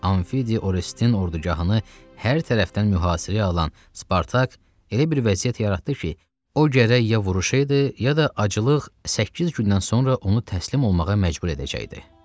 Anfidi Orestin ordugahını hər tərəfdən mühasirəyə alan Spartak elə bir vəziyyət yaratdı ki, o gərək ya vuruşaydı, ya da aclıq səkkiz gündən sonra onu təslim olmağa məcbur edəcəkdi.